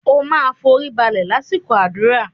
O máa foríbalẹ̀ lásìkò àdúrà.!